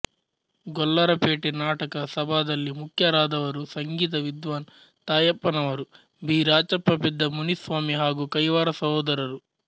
ಗೊಲ್ಲರಪೇಟೆ ನಾಟಕ ಸಭಾದಲ್ಲಿ ಮುಖ್ಯರಾದವರು ಸಂಗೀತ ವಿದ್ವಾನ್ ತಾಯಪ್ಪನವರು ಬಿ ರಾಚಪ್ಪ ಪೆದ್ದ ಮುನಿಸ್ವಾಮಿ ಹಾಗೂ ಕೈವಾರ ಸಹೋದರರು